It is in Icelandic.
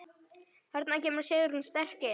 Þarna kemur Sigrún sterk inn.